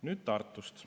Nüüd Tartust.